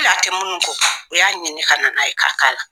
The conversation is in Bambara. Hali a tɛ munnu ko o y'a ɲini ka nana ye ka kala.